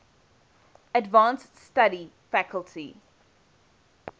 advanced study faculty